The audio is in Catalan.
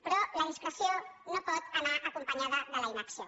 però la discreció no pot anar acompanyada de la inacció